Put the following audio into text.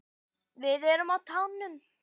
Við erum á tánum.